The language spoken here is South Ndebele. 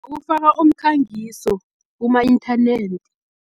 Ukufaka umkhangiso kuma-inthanethi.